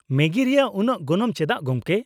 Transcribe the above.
ᱢᱮᱜᱤ ᱨᱮᱭᱟᱜ ᱩᱱᱟᱹᱜ ᱜᱚᱱᱚᱝ ᱪᱮᱫᱟᱜ, ᱜᱚᱝᱠᱮ ?